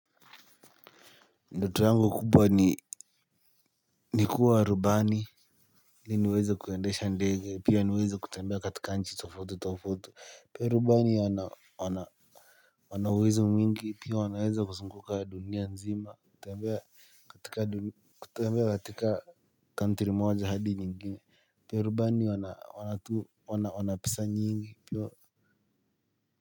Ndoto yangu kubwa ni ni kuwa rubani ili niweze kuendesha ndege pia niweze kutembea katika nchi tofautitofauti pia rubani wana wana uwezo mwingi pia wanaweza kuzunguka dunia nzima kutembea katika dunia. Kutembea katika country moja hadi ningine pia rubani wana pesa nyingi pia.